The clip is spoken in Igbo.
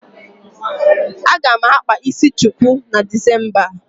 Aga m akpa isi chuku na Disemba.